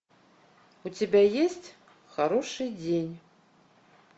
у тебя есть хороший день